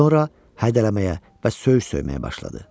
Sonra hədələməyə və söyüş söyməyə başladı.